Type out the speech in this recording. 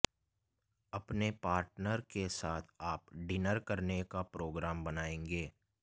अपने पार्टनर के साथ आप डिनर करने का प्रोग्राम बनायेंगे